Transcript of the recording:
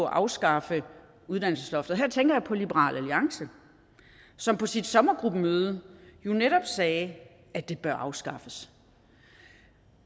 afskaffe uddannelsesloftet her tænker jeg på liberal alliance som på sit sommergruppemøde jo netop sagde at det bør afskaffes